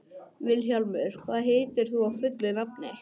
Vilhjálmur, hvað heitir þú fullu nafni?